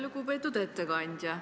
Lugupeetud ettekandja!